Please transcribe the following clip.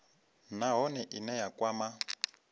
nha nahone ine ya kwama